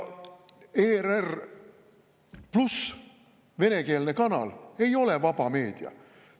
Venekeelne kanal ei ole vaba meedia.